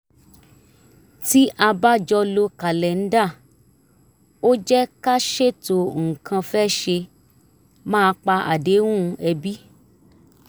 tí a bá jọ lo kàlẹ́ńdà ó jẹ́ ká ṣètò nǹkan fẹ́ ṣe má pa àdéhùn ẹbí